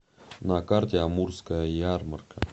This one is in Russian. на карте амурская ярмарка